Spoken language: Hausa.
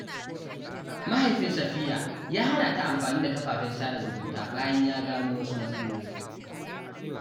Mahaifin Safiya ya hana ta amfani da kafafen sada zumunta bayan ya gano wasu matsaloli.